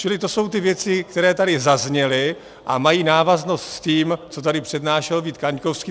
Čili to jsou ty věci, které tady zazněly a mají návaznost s tím, co tady přednášel Vít Kaňkovský.